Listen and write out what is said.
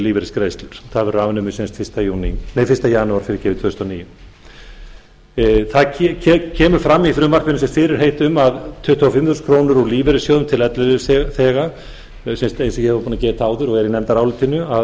lífeyrisgreiðslur það verður afnumið eins janúar tvö þúsund og níu það kemur fram í frumvarpinu fyrirheit um að tuttugu og fimm þúsund krónur úr lífeyrissjóði til ellilífeyrisþega eins og ég var búin að geta áður og er í nefndarálitinu að